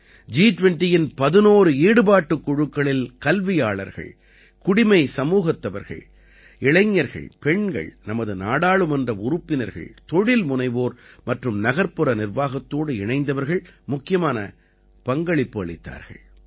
ஜி20யின் 11 ஈடுபாட்டுக் குழுக்களில் கல்வியாளர்கள் குடிமை சமூகத்தவர்கள் இளைஞர்கள் பெண்கள் நமது நாடாளுமன்ற உறுப்பினர்கள் தொழில்முனைவோர் மற்றும் நகர்ப்புற நிர்வாகத்தோடு இணைந்தவர்கள் முக்கியமான பங்களிப்பு அளித்தார்கள்